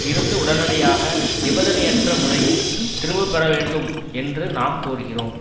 இருந்து உடனடியாக நிபந்தனையற்ற முறையில் திரும்ப பெற வேண்டும் என்று நாம் கோருகிறோம்